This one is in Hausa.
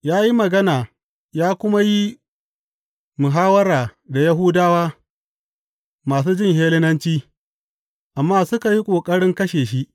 Ya yi magana ya kuma yi muhawwara da Yahudawa masu jin Hellenanci, amma suka yi ƙoƙarin kashe shi.